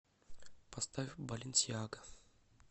поставь баленсиага